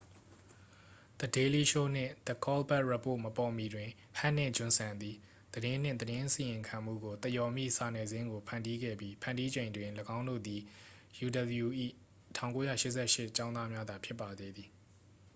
the daily show နှင့် the colbert report မပေါ်မီတွင် ဟက်နှင့် ဂျွန်ဆန်သည် သတင်းနှင့် သတင်းအစီရင်ခံမှုကို သရော်မည့် စာနယ်ဇင်းကို ဖန်တီးခဲ့ပြီး ဖန်တီးချိန်တွင် သူတို့သည် uw ၏ 1988 ကျောင်းသားများသာ ဖြစ်ပါသေးသည်